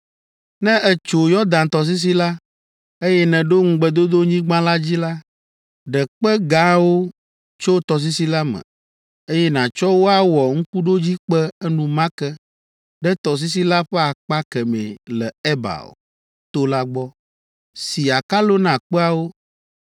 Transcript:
“Ne ètso Yɔdan tɔsisi la, eye nèɖo Ŋugbedodonyigba la dzi la, ɖe kpe gãwo tso tɔsisi la me, eye nàtsɔ wo awɔ ŋkuɖodzikpe enumake ɖe tɔsisi la ƒe akpa kemɛ le Ebal to la gbɔ. Si akalo na kpeawo,